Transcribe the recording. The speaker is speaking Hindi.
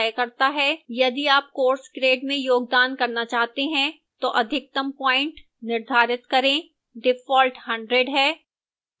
यदि आप course grade में योगदान करना चाहते हैं तो अधिकतम प्वाइंट निर्धारित करें